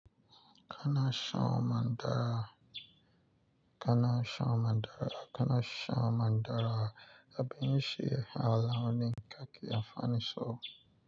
Kana son Mandara. Kana son Mandara. Kana son Mandara. Abin siye ala wani gaki amfanin so.